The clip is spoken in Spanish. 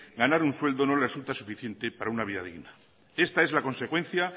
ganar un sueldo no les resulta suficiente para una vida digna esta es la consecuencia